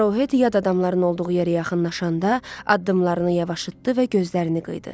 Aruhet yad adamların olduğu yerə yaxınlaşanda addımlarını yavaşlatdı və gözlərini qıyırdı.